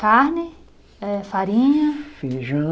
Carne, eh farinha. Feijão?